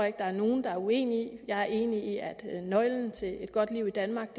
ikke der er nogen der er uenig i jeg er enig i at nøglen til et godt liv i danmark